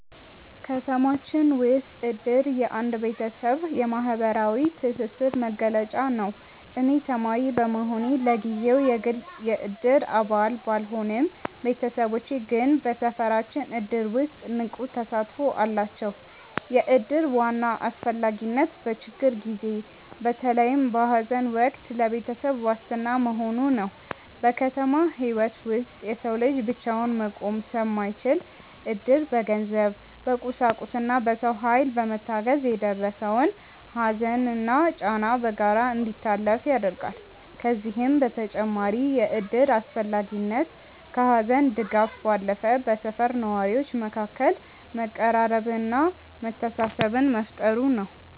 ከተማችን ውስጥ እድር የአንድ ቤተሰብ ዋነኛ የማህበራዊ ትስስር መገለጫ ነው። እኔ ተማሪ በመሆኔ ለጊዜው የግል የእድር አባል ባልሆንም፣ ቤተሰቦቼ ግን በሰፈራችን እድር ውስጥ ንቁ ተሳትፎ አላቸው። የእድር ዋና አስፈላጊነት በችግር ጊዜ፣ በተለይም በሐዘን ወቅት ለቤተሰብ ዋስትና መሆኑ ነው። በከተማ ህይወት ውስጥ የሰው ልጅ ብቻውን መቆም ስለማይችል፣ እድር በገንዘብ፣ በቁሳቁስና በሰው ኃይል በመታገዝ የደረሰውን ሐዘንና ጫና በጋራ እንዲታለፍ ያደርጋል። ከዚህም በተጨማሪ የእድር አስፈላጊነት ከሐዘን ድጋፍ ባለፈ በሰፈር ነዋሪዎች መካከል መቀራረብንና መተሳሰብን መፍጠሩ ነው።